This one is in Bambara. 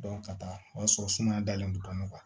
ka taa o y'a sɔrɔ sumaya dalen don bana kan